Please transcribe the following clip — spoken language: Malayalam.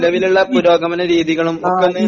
നിലവിലിള്ള പുരോഗമന രീതികളും ഒക്കൊന്ന്